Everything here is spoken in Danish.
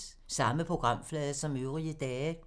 Samme programflade som øvrige dage